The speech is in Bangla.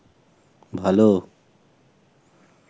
ভালো